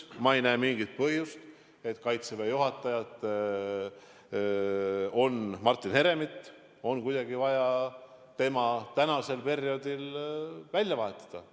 Ma ei näe mingit põhjust, miks Kaitseväe juhatajat Martin Heremit oleks kuidagi vaja tänasel perioodil välja vahetada.